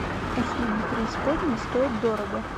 услуги преисподней стоят дорого